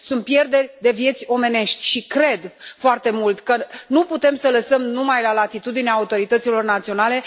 Sunt pierderi de vieți omenești și cred foarte mult că nu putem să lăsăm numai la latitudinea autorităților naționale.